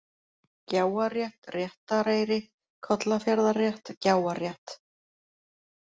Gjáarétt, Réttareyri, Kollafjarðarrétt, Gjáarrétt